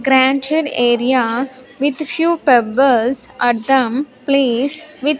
Granted area with few pebbles at them place with --